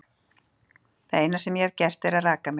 En það eina sem ég hef gert er að raka mig.